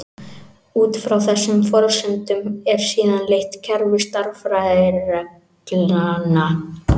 Út frá þessum forsendum er síðan leitt kerfi stærðfræðireglna.